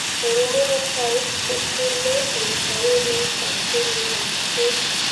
Eng murot tai kotule eng taunetab kenyitab skul